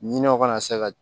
Ɲinɛw kana se ka